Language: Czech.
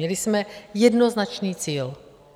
Měli jsme jednoznačný cíl